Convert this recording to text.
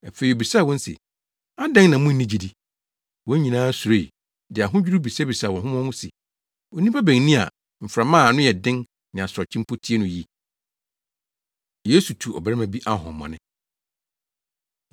Afei obisaa wɔn se, “Adɛn na munni gyidi?” Wɔn nyinaa suroe, de ahodwiriw bisabisaa wɔn ho wɔn ho se. “Onipa bɛn ni a mframa a ano yɛ den ne asorɔkye mpo tie no yi?” Yesu Tu Ɔbarima Bi Ahohommɔne